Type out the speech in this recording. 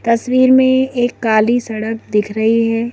तस्वीर में एक काली सड़क दिख रही है।